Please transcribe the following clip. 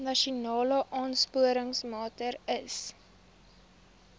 nasionale aansporingsmaatre ls